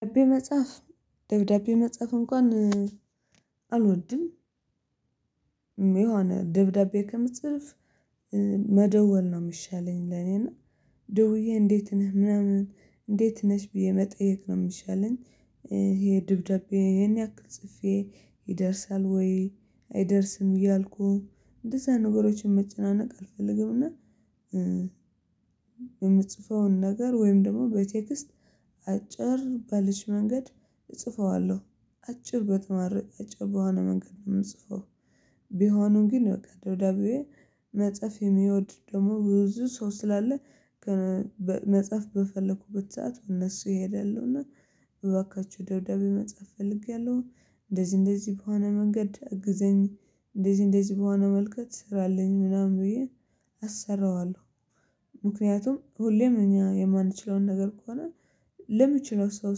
ደብዳቤ መጻፍ ደብዳቤ መጻፍ እንኳን አልወድም። የሆነ ደብዳቤ ከምትጽፍ መደወል ነው የሚሻለኝ ለኔ እና ደውዬ እንዴት ነህ ምናምን እንዴት ነሽ ብዬ መጠየቅ ነው የሚሻለኝ። ይሄ ደብዳቤ ይሄን ያክል ጽፌ ይደርሳል ወይ አይደርስም እያልኩ እንደዛ አይነት ነገሮችን መጨናነቅ አልፈልግም። እና የምጽፈውን ነገር ወይም ደግሞ በቴክስት አጭር ባለች መንገድ እጽፈዋለሁ አጭር ተመራጭ በሆነ መንገድ ነው የምጽፈው። ቢሆንም ግን ደብዳቤ መጻፍ የሚወድ ደግሞ ብዙ ሰው ስላለ መጻፍ በፈለኩበት ሰዓት እነሱ ይሄዳሉና እባካችሁ ደብዳቤ መጻፍ ፈልጌያለሁ። እንደዚህ እንደዚህ በሆነ መንገድ እግዘኝ እንደዚህ እንደዚህ በሆነ መንገድ ስራልኝ ምናምን ብዬ አሰራዋለሁ። ምክንያቱም ሁሌም እኛ የማንችለውን ነገር ከሆነ ለሚችለው ሰው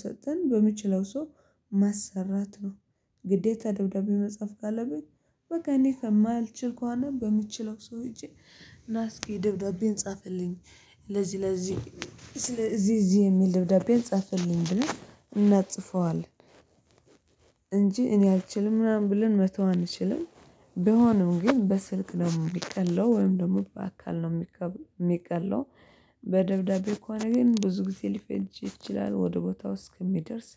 ሰጥተን በሚችለው ሰው ማሰራት ነው። ግዴታ ደብዳቤ መጻፍ ካለብኝ በቃ እኔ ማልችል ከሆነ በምችለው ሰው ሄጄ ናስኪ ደብዳቤን ጻፍልኝ ለዚህ ለዚህ ስለ እዚህ እዚህ የሚል ደብዳቤን ጻፍልኝ ብለን እናጽፈዋለን እንጂ እኔ አልችልም ምናምን ብለን መተው አንችልም። ቢሆንም ግን በስልክ ደግሞ የሚቀለው ወይም ደግሞ በአካል ነው የሚቀለው። በደብዳቤ ከሆነ ግን ብዙ ጊዜ ሊፈጅ ይችላል ወደ ቦታው እስኪደርስ